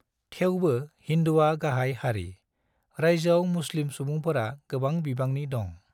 थेवबो हिन्दुआ गाहाय हारि, रायजोयाव मुस्लिम सुबुंफोरा गोबां बिबांनि दं।